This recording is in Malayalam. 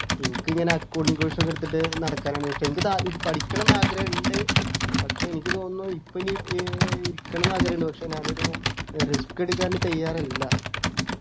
എനിക്ക് ഇങ്ങനെ accounting course ഒക്കെ എടുത്തിട്ട് നടക്കാനാണ് ഇഷ്ടം എനിക്ക് താ പഠിക്കണമെന്ന് ആഗ്രഹമുണ്ട് പക്ഷെ എനിക്ക് തോന്നുന്നു ഇപ്പോൾ ഇനി ഏർ ഇരിക്കണം ന്നു ആഗ്രഹം ഉണ്ട് പക്ഷെ ഞാനൊരു risk എടുക്കാൻ തയ്യാറല്ല